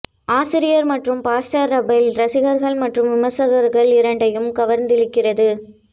ஆசிரியர் மற்றும் pastor Rob Bell ரசிகர்கள் மற்றும் விமர்சகர்கள் இரண்டையும் கவர்ந்திழுக்கிறது